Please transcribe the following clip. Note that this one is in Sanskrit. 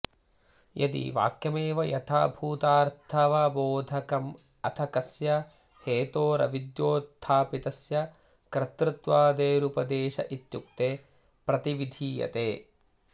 यदि वाक्यमेव यथाभूतार्थवबोधकमथ कस्य हेतोरविद्योत्थापितस्य कर्तृत्वादेरुपदेश इत्युक्ते प्रतिविधीयते